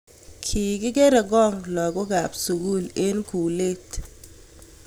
Ki kere kong� lokookaab sukuul eng kuuleet